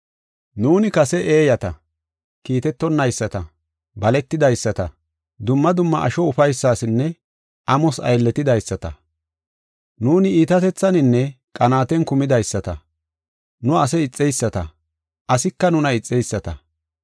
Nuuni kase eeyata, kiitetonayisata, baletidaysata, dumma dumma asho ufaysasinne amos aylletidaysata. Nuuni iitatethaninne qanaaten kumidaysata; nu ase ixeyisata, asika nuna ixeyisata.